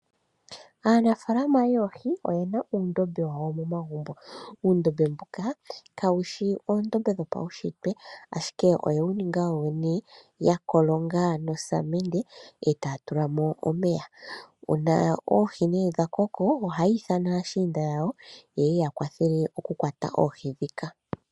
Aanafalama yoohi oyena uundombe wawo momagumbo. Uundombe mboka ka wushi oondombe dho paushitwe, ashike oye wu ninga yo yene ya kolonga no samende e taya tulamo omeya. Uuna oohi nee dha koko , ohaya ithana aashiinda yawo ye ya kwathele oku kwata oohi dhika.